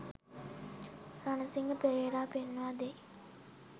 රණසිංහ පෙරේරා පෙන්වා දෙයි.